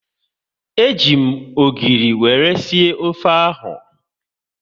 E ji m ogiri wéré sie ofe ahu